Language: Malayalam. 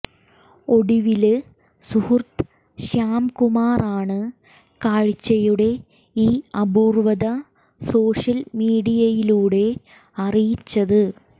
ഒടുവില് സുഹൃത്ത് ശ്യാം കുമാറാണ് കാഴ്ചയുടെ ഈ അപൂര്വ്വത സോഷ്യല് മീഡിയയിലൂടെ അറിയിച്ചത്